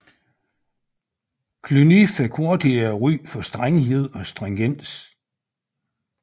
Cluny fik hurtigt et ry for strenghed og stringens